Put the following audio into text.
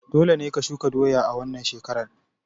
Dole ne ka shuka doya a wannan shekarar!